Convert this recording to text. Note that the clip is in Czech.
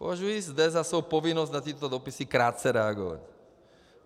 Považuji zde za svou povinnost na tyto dopisy krátce reagovat.